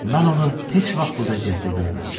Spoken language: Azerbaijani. Mən onu heç vaxt bu vəziyyətdə görməmişdim.